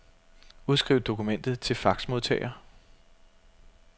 Udskriv dokumentet til faxmodtager.